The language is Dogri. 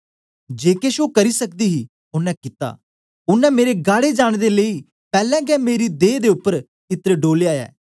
जे केश ओ करी सकदी ही ओनें कित्ता ओनें मेरे गाड़े जाने दे लेई पैलैं गै मेरी दे उपर इत्र डोलया ऐ